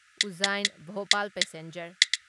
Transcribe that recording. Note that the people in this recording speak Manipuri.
ꯎꯖꯖꯥꯢꯟ ꯚꯣꯄꯥꯜ ꯄꯦꯁꯦꯟꯖꯔ